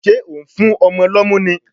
Ṣé ò ń fún ọmọ lọ́mú ni?